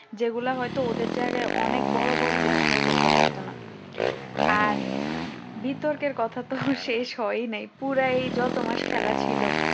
যেগুলা হয়তো ওদের জায়গায় অনেক বড় বড় দেশ করতে পারত না আর বিতর্কের কথা তো শেষ হয় নাই পুরো এই যত মাস খেলা ছিল